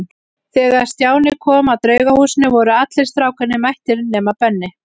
Þegar Stjáni kom að Draugahúsinu voru allir strákarnir mættir nema Benni.